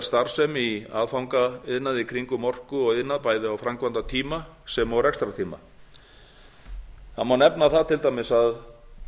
starfsemi í aðfangaiðnaði í kringum orku og iðnað bæði á framkvæmdatíma sem og rekstrartíma það má nefna það til dæmis að